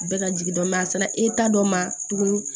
Bɛɛ ka jigin dɔ a sera e ta dɔ ma tuguni